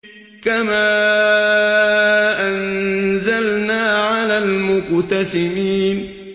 كَمَا أَنزَلْنَا عَلَى الْمُقْتَسِمِينَ